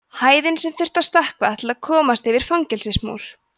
hæðin sem þyrfti að stökkva til að komast yfir fangelsismúr